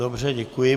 Dobře, děkuji.